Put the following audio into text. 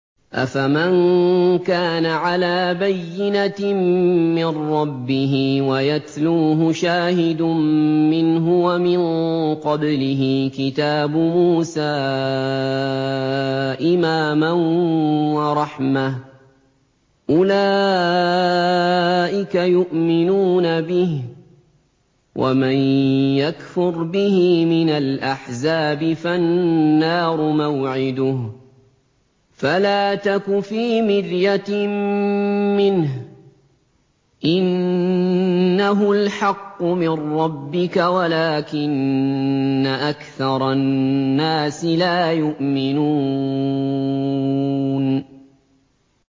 أَفَمَن كَانَ عَلَىٰ بَيِّنَةٍ مِّن رَّبِّهِ وَيَتْلُوهُ شَاهِدٌ مِّنْهُ وَمِن قَبْلِهِ كِتَابُ مُوسَىٰ إِمَامًا وَرَحْمَةً ۚ أُولَٰئِكَ يُؤْمِنُونَ بِهِ ۚ وَمَن يَكْفُرْ بِهِ مِنَ الْأَحْزَابِ فَالنَّارُ مَوْعِدُهُ ۚ فَلَا تَكُ فِي مِرْيَةٍ مِّنْهُ ۚ إِنَّهُ الْحَقُّ مِن رَّبِّكَ وَلَٰكِنَّ أَكْثَرَ النَّاسِ لَا يُؤْمِنُونَ